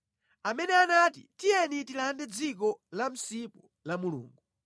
amene anati, “Tiyeni tilande dziko la msipu la Mulungu.”